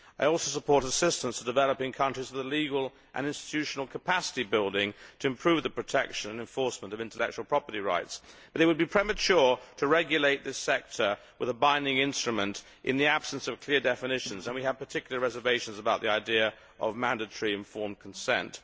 I also support assistance to developing countries that are engaged in legal and institutional capacity building to improve the protection and enforcement of intellectual property rights, but it would be premature to regulate this sector with a binding instrument in the absence of clear definitions. We have particular reservations about the idea of mandatory informed consent.